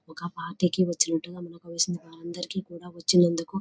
ఒక పార్టీ కి వచ్చినట్టుగా మనకు తెలిసిన వాళ్ళందరికి కూడా వచ్చినందుకు --